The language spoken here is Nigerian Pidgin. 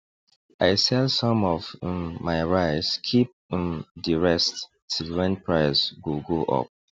i sell some of um my rice keep um di rest till wen price go go up